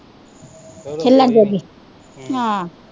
ਹਿੱਲਣ ਜੋਗੀ ਆਹ